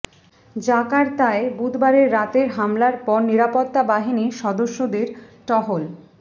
জাকার্তায় বুধবারের রাতের হামলার পর নিরাপত্তা বাহিনীর সদস্যদের টহল